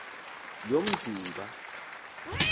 yomdumba